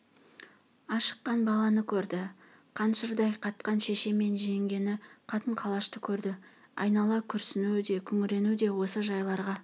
ашыққан баланы көрді қаншырдай қатқан шеше мен жеңгені қатын-қалашты көрді айнала күрсіну де күңірену осы жайларға